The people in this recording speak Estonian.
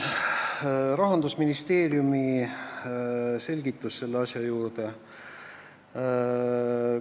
Rahandusministeeriumi selgitus selle ettepaneku juurde on selline.